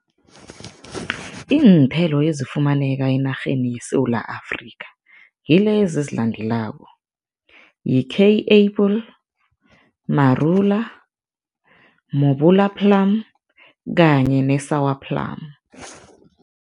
Iinthelo ezifumaneka enarheni yeSewula Afrika ngilezi ezilandelako, yi-kei apple, marula, mobola plum kanye ne-sour plum.